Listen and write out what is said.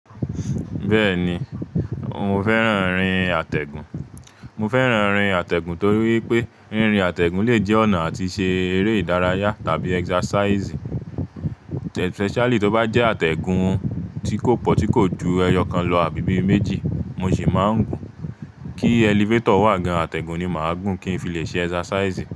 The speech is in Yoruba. Bẹ́ẹ̀ni, mo fẹ́ran ríìn atẹ́gùn. Mo fẹ́ran ríìn atẹ́gùn torí wipé, ríìn rìn atẹ́gùn le jẹ́ ọ̀nà àti ṣe eré ìdárayá tàbí exercise, especially tó bá jẹ́ atẹ́gùn tí kò pọ̀ tí kò ju ẹyọkan lọ àbí ibi méjì, mo sì máa ń gùn. Kí elevator wà gan atẹ́gùn ni màá gùn kí n fi le ṣe exercise.